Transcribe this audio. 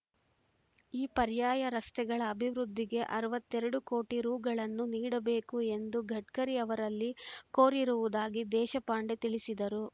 ಈ ಪರ್ಯಾಯ ರಸ್ತೆಗಳ ಅಭಿವೃದ್ಧಿಗೆ ಅರವತ್ತೆರಡು ಕೋಟಿ ರುಗಳನ್ನು ನೀಡಬೇಕು ಎಂದು ಗಡ್ಕರಿ ಅವರಲ್ಲಿ ಕೋರಿರುವುದಾಗಿ ದೇಶಪಾಂಡೆ ತಿಳಿಸಿದರು